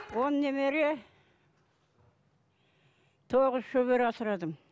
он немере тоғыз шөбере асырадым